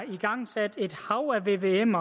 igangsat et hav af vvm